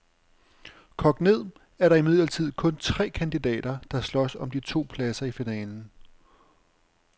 Kogt ned er der imidlertid kun tre kandidater, der slås om de to pladser i finalen.